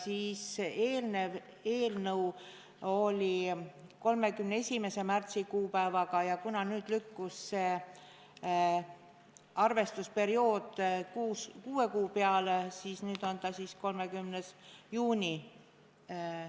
Senises seaduses oli 31. märtsi kuupäev, aga nüüd lükkub arvestusperiood kuue kuu peale ja nüüd on see tähtaeg 30. juuni.